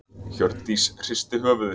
Hjördís hristi höfuðið.